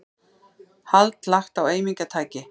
Hald lagt á eimingartæki